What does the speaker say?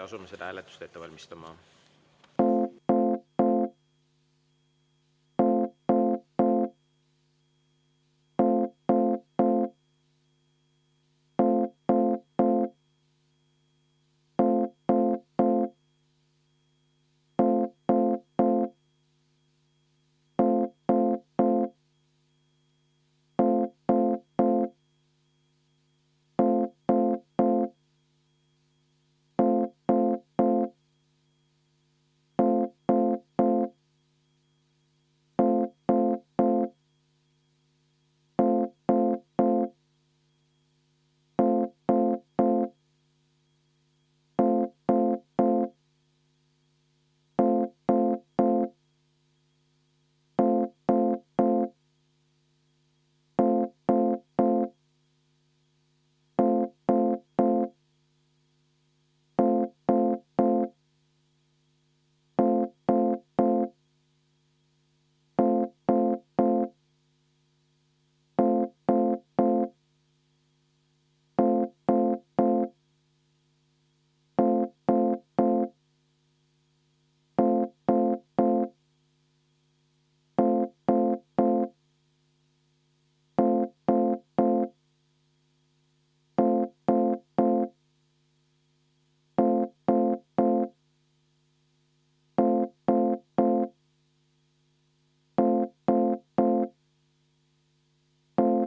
Asume seda hääletust ette valmistama.